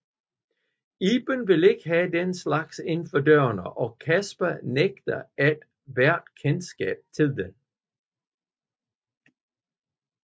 Iben vil ikke have den slags inden for dørene og Casper nægter et hvert kendskab til den